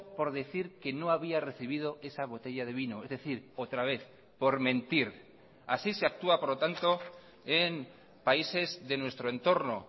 por decir que no había recibido esa botella de vino es decir otra vez por mentir así se actúa por lo tanto en países de nuestro entorno